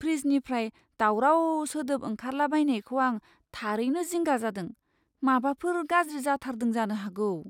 फ्रिजनिफ्राय दावराव सोदोब ओंखारला बायनायखौ आं थारैनो जिंगा जादों, माबाफोर गाज्रि जाथारदों जानो हागौ।